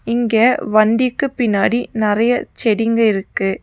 இங்க வண்டிக்கு பின்னாடி நறைய செடிங்க இருக்கு.